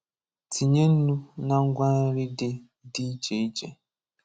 Tinye ńnú na ngwa nri dị dị iche iche.